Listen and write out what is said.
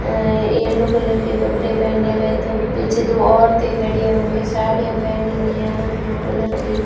अं yellow colour के कपड़े पहने हुए तो पीछे दो औरतें खड़ी है उनके साड़ियां पहनी हुई है अलग अलग कलर की।